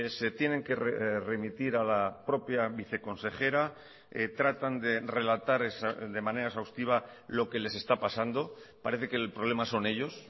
se tienen que remitir a la propia viceconsejera tratan de relatar de manera exhaustiva lo que les está pasando parece que el problema son ellos